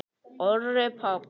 Orri Páll.